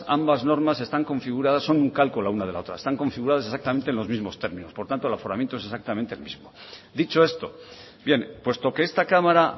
ambas normas están configuradas son un calco la una de la otra están configuradas exactamente en los mismos términos por tanto el aforamiento es exactamente el mismo dicho esto bien puesto que esta cámara